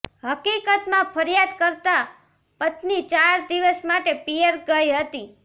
હકીકતમાં ફરિયાદ કર્તા પત્ની ચાર દિવસ માટે પિયર ગઈ હતી